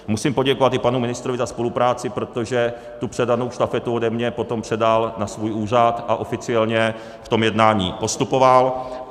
Musím poděkovat i panu ministrovi za spolupráci, protože tu předanou štafetu ode mě potom předal na svůj úřad a oficiálně v tom jednání postupoval.